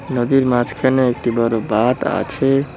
নদীর মাঝখানে একটি বড় বাঁধ আছে।